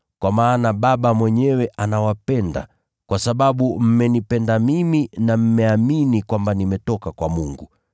kwa maana Baba mwenyewe anawapenda, kwa sababu mmenipenda mimi na mmeamini kwamba nimetoka kwa Mungu.